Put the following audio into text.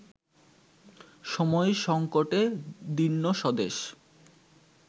সময়-সংকটে দীর্ণ স্বদেশ